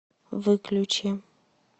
выключи